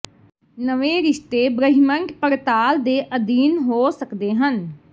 ਨਵੇਂ ਰਿਸ਼ਤੇ ਬ੍ਰਹਿਮੰਡ ਪੜਤਾਲ ਦੇ ਅਧੀਨ ਹੋ ਸਕਦੇ ਹਨ